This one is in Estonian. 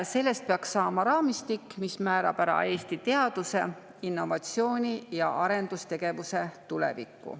Sellest peaks saama raamistik, mis määrab ära Eesti teaduse, innovatsiooni ja arendustegevuse tuleviku.